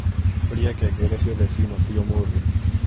Horia ngengere ciothe ciūma cia ūmūthi